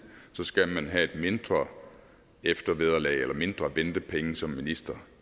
så skal man have et mindre eftervederlag eller mindre ventepenge som minister